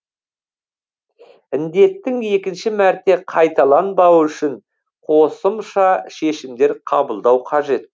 індеттің екінші мәрте қайталанбауы үшін қосымша шешімдер қабылдау қажет